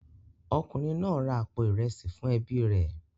Ọkùnrin náà ra àpò ìrẹsì fún ẹbí rẹ̀